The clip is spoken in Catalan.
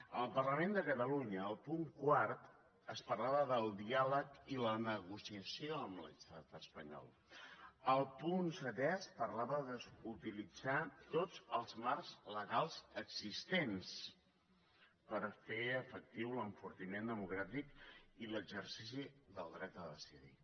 en el parlament de catalunya al punt quart es parlava del diàleg i la negociació amb l’estat espanyol al punt setè es parlava d’utilitzar tots els marcs legals existents per fer efectiu l’enfortiment democràtic i l’exercici del dret a decidir